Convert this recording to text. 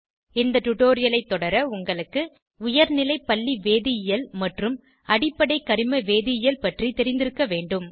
இந்த டுடோரியலைத் தொடர உங்களுக்கு உயர்நிலைப் பள்ளி வேதியியல் மற்றும் அடிப்படை கரிம வேதியியல் பற்றி தெரிந்திருக்க வேண்டும்